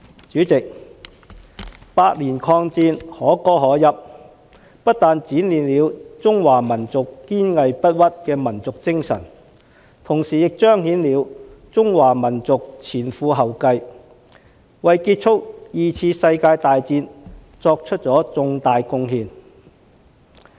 主席，八年抗戰，可歌可泣，不但展現了中華民族堅韌不屈的民族精神，同時亦彰顯了中華民族前赴後繼，為結束二次世界大戰作出重大貢獻。